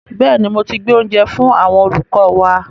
Bẹ́ẹ̀ni, mo ti gbé oúnjẹ fú àwọn olùkọ́ wa.